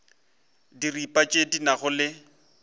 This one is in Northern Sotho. diripa tše di nago le